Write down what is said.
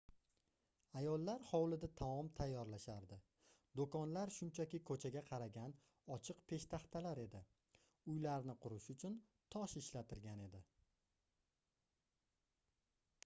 ayollar hovlida taom tayyorlashardi doʻkonlar shunchaki koʻchaga qaragan ochiq peshtaxtalar edi uylarni qurish uchun tosh ishlatilgan edi